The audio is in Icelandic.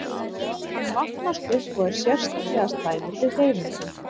Hann magnast upp og er sérstaklega slæmur við hreyfingu.